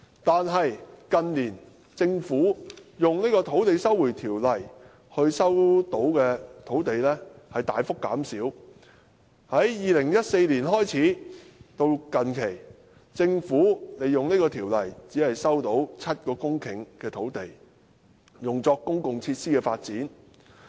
但近年，政府卻說引用《收回土地條例》收回的土地大幅減少，在2014年開始至近期，政府引用這條例，只收回7公頃土地，用作公共設施的發展。